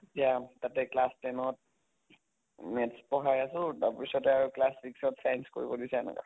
এতিয়া তাতে class ten অত maths পঢ়াই আছো তাৰ পিছতে আৰু class six অত science কৰিব দিছে এনেকা